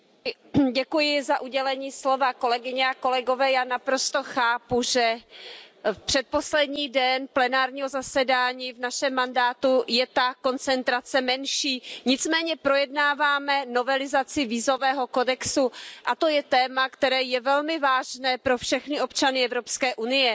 Pane předsedající, já naprosto chápu, že předposlední den plenárního zasedání v našem mandátu je ta koncentrace menší, nicméně projednáváme novelizaci vízového kodexu, a to je téma, které je velmi vážné pro všechny občany Evropské unie.